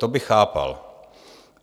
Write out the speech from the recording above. To bych chápal.